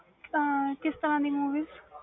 ਕਿਸ ਤਰਾਂ ਦੀ movies